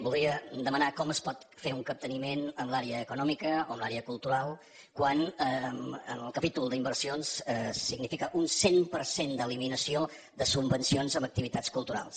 voldria demanar com es pot fer un capteniment en l’àrea econòmica o en l’àrea cultural quan en el capítol d’inversions significa un cent per cent d’eliminació de subvencions en activitats culturals